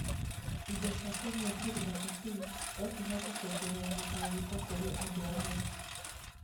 indo cia kũnyua cirĩ na caffeine no cihote kuongerera mĩtangĩko kũrĩ andũ amwe,